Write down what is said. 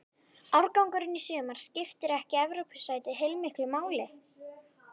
Árangurinn í sumar skiptir ekki Evrópusætið heilmiklu máli?